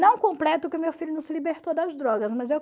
Não completo que o meu filho não se libertou das drogas, mas eu